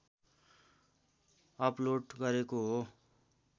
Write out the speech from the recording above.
upload गरेको हो